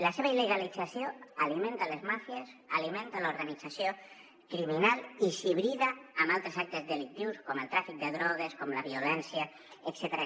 la seva il·legalització alimenta les màfies alimenta l’organització criminal i s’hibrida amb altres actes delictius com el tràfic de drogues com la violència etcètera